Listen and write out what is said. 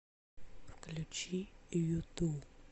включи юту